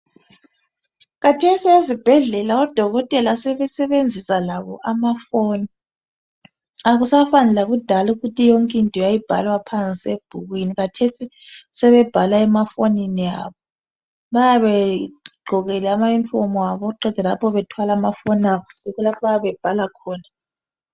khathesi ezibhedlela odokotela sebesebenzisa labo amafoni akusafana lakudala ukuthi yonke into yayibhalwa phansi ebhukwini khathesi sebebhala emafonini abo bayabe begqokile ama uniform abo beqeda lapho bethwale amafono abo abayabe bebhala khona